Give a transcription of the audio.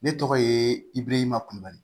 Ne tɔgɔ ye ibiriyankuru